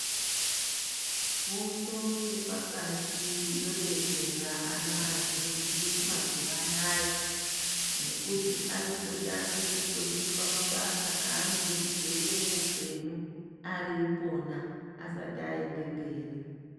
Fundo yepakati yodetsera ana azhinji mazuvaanaya ngekuti arikutotanga kufundiswa mabasa aanoda kuzoita muupenyu ari ipona asati aenda mberi.